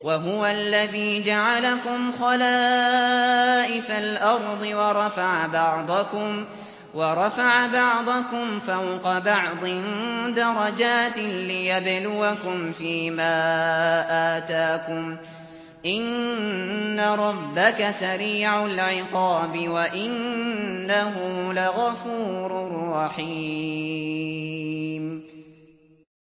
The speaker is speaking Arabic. وَهُوَ الَّذِي جَعَلَكُمْ خَلَائِفَ الْأَرْضِ وَرَفَعَ بَعْضَكُمْ فَوْقَ بَعْضٍ دَرَجَاتٍ لِّيَبْلُوَكُمْ فِي مَا آتَاكُمْ ۗ إِنَّ رَبَّكَ سَرِيعُ الْعِقَابِ وَإِنَّهُ لَغَفُورٌ رَّحِيمٌ